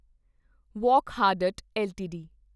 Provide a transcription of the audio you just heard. Wockhardt LTD